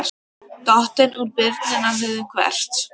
Dottinn úr byrjunarliðinu Hvert?